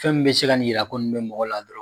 Fɛn min bɛ se ka nin yira ko nin bɛ mɔgɔ la